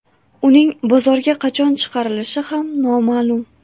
Uning bozorga qachon chiqarilishi ham noma’lum.